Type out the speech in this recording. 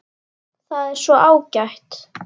Það er svo ágætt.